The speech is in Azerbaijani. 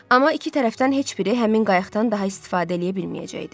Amma iki tərəfdən heç biri həmin qayıqdan daha istifadə eləyə bilməyəcəkdi.